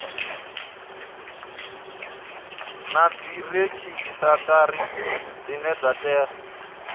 na dziredzhisitara dzine dza tea